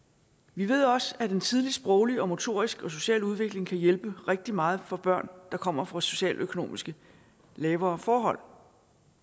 vi ved også at en tidlig sproglig motorisk og social udvikling kan hjælpe rigtig meget for børn der kommer fra socialøkonomisk lavere forhold